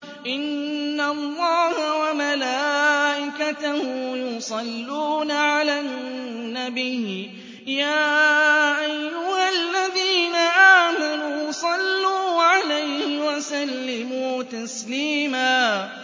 إِنَّ اللَّهَ وَمَلَائِكَتَهُ يُصَلُّونَ عَلَى النَّبِيِّ ۚ يَا أَيُّهَا الَّذِينَ آمَنُوا صَلُّوا عَلَيْهِ وَسَلِّمُوا تَسْلِيمًا